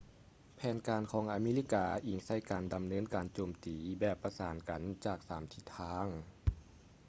ແຜນການຂອງອາເມລິກາອິງໃສ່ການດຳເນີນການໂຈມຕີແບບປະສານກັນຈາກສາມທິດທາງ